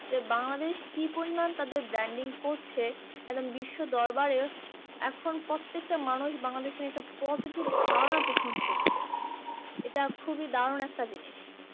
যে বাংলাদেশ কি পরিমাণ তাদের branding করছে? একদম বিশ্বদরবারে এখন প্রত্যেকটা মানুষ বাংলাদেশ নিয়ে একটা positive ধারণা পোষণ করছে। এইটা খুবই দারুন একটা জিনিস।